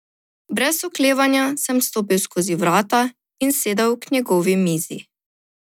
Brez oklevanja sem stopil skozi vrata in sedel k njihovi mizi.